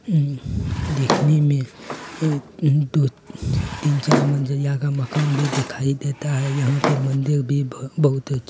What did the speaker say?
उम देखने में एक दो तीन चार मंजिला का मकान भी दिखाई देता है। यहाँ पे मंदिर भी बहुत अच--